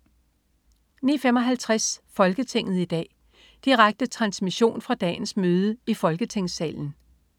09.55 Folketinget i dag. Direkte transmission fra dagens møde i Folketingssalen